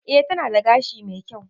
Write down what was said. E, tana da gashi mai kyau.